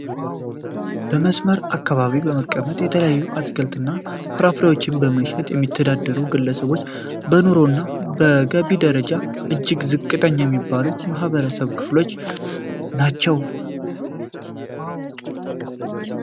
በመስመር አካባቢ በመቀመጥ የተለያዩ አትክልት እና ፍራፍሬዎችን በመሸጥ የሚተዳደሩ ግለሰቦች በኑሮ እና በገቢ ደረጃ እጅግ ዝቅተኛ የሚባሉ የማህበረሰብ ክፍሎች ናቸው።